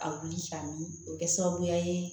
A wuli k'a min o bɛ kɛ sababuya ye